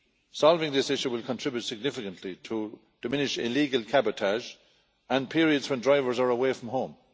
Solving this issue will contribute significantly to diminish illegal cabotage and periods when drivers are away from home.